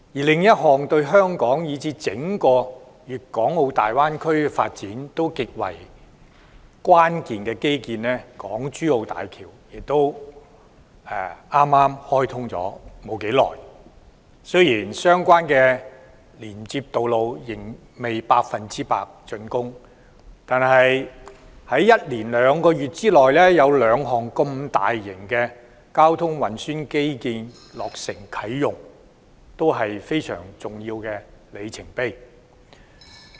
另一項對香港以至整個粵港澳大灣區發展極為關鍵的基建——港珠澳大橋——亦剛開通不久，雖然相關的連接道路仍未全部竣工，但在連續兩個月內有兩項大型交通運輸基建落成啟用，是非常重要的里程碑。